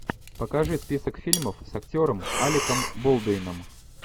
покажи список фильмов с актером алеком болдуином